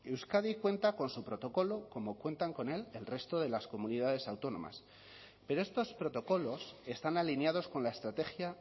euskadi cuenta con su protocolo como cuentan con él el resto de las comunidades autónomas pero estos protocolos están alineados con la estrategia